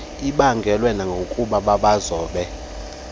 ibaangelwe nakukuba babazobe